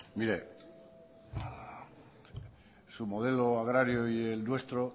mire su modelo agrario y el nuestro